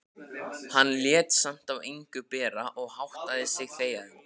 Hann lét samt á engu bera og háttaði sig þegjandi.